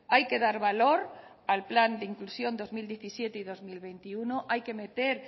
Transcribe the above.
hay que dar valor al plan de inclusión dos mil diecisiete dos mil veintiuno hay que meter